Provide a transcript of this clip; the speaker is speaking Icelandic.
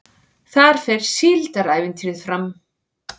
Þar fer Síldarævintýrið fram